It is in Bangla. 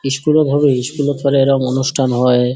ইস্কুল -এ ভাবেই ইস্কুল -এ অনেক রকম অনুষ্ঠান হয় |